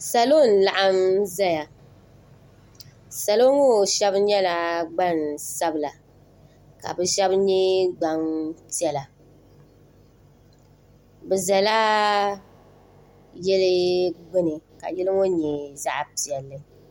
salo n laɣim zaya salo ŋɔ shɛbi nyɛla gba sabila ka be shɛbi nyɛ gba piɛla be zala yili gbani ka yili ŋɔ nyɛ zaɣ piɛli